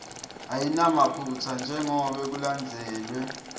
ayinamaphutsa njengobe kulandzelwe